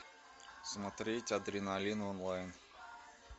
смотреть адреналин онлайн